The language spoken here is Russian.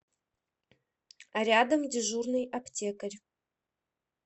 рядом дежурный аптекарь